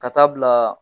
Ka taa bila